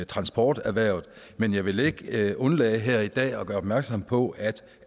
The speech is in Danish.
transporterhvervet men jeg vil ikke undlade her i dag at gøre opmærksom på at